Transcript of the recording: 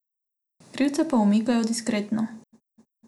Krivce pa umikajo diskretno.